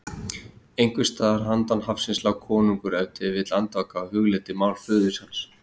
Einhvers staðar handan hafsins lá konungur ef til vill andvaka og hugleiddi mál föður hans.